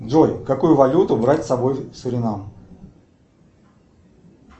джой какую валюту брать с собой в суринам